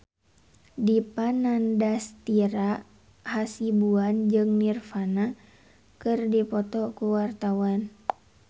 Dipa Nandastyra Hasibuan jeung Nirvana keur dipoto ku wartawan